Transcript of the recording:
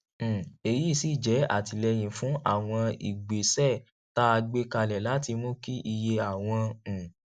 um èyí sì jẹ àtìlẹyìn fún àwọn ìgbésẹ tá a gbé kalẹ láti mú kí iye àwọn um